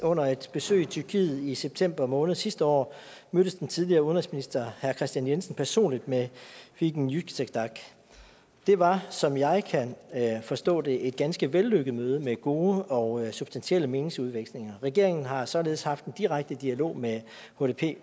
under et besøg i tyrkiet i september måned sidste år mødtes den tidligere udenrigsminister herre kristian jensen personligt med figen yüksekdag det var som jeg kan forstå det et ganske vellykket møde med gode og substantielle meningsudvekslinger regeringen har således haft en direkte dialog med hdp